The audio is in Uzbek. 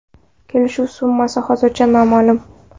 Kelishuv summasi hozircha noma’lum.